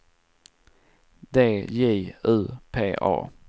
D J U P A